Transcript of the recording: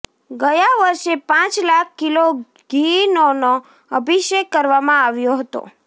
ગયા વર્ષે પાંચ લાખ કિલો ઘીનોનો અભિષેક કરવામાં આવ્યો હતો